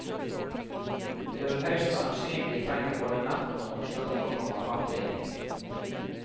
De vil høyst sannsynlig trenge både natten og onsdagen for å komme fram til enighet.